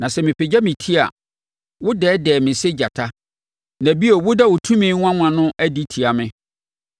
Na sɛ mepagya me ti a, wodɛɛdɛɛ me sɛ gyata, na bio woda wo tumi nwanwa no adi tia me.